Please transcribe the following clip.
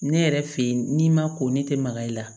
Ne yɛrɛ fɛ yen n'i ma ko ne tɛ maga i la